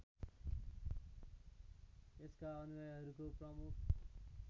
यसका अनुयायीहरूको प्रमुख